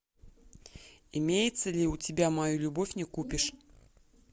имеется ли у тебя мою любовь не купишь